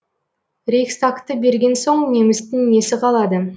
рейхстагты берген соң немістің несі қалады